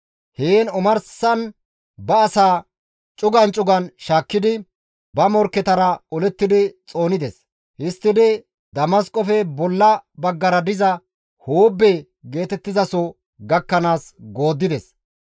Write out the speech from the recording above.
Heen omarsan ba asaa cugan cugan shaakkidi, ba morkketara olettidi xoonides; histtidi Damasqofe bolla baggara diza Hoobbe geetettizaso gakkanaas gooddides.